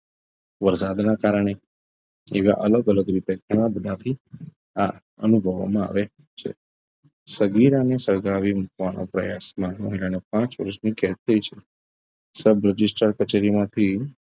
વરસાદના કારણે એવા અલગ અલગ રીતે ઘણા બધાથી આ અનુભવવામાં આવે છે સગીરાને સળગાવી મૂકવાનું પ્રયાસમાં મોલાને પાંચ વર્ષનો કેદ થઈ છે sub register કચેરી માંથી